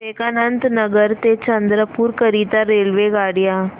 विवेकानंद नगर ते चंद्रपूर करीता रेल्वेगाड्या